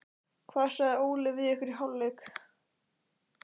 Hvað sagði Óli við ykkur í hálfleik?